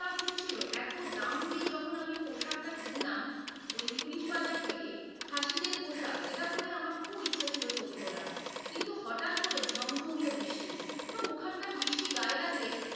এতো রাগ হচ্ছিল এতো দাম দিয়ে যখন আমি পোশাকটা কিনলাম ওই পুলিশ বাজার থেকে খাসিদের পোশাক যেটা পরে আমার খুব ইচ্ছা ছিল ছবি তোলার। কিন্তু হঠাৎ করে ঝমঝমিয়ে বৃষ্টি। এবং ওখানকার বৃষ্টি গায়ে লাগলে,